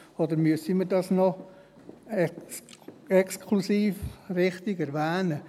Oder müssen wir das noch exklusiv wichtig erwähnen?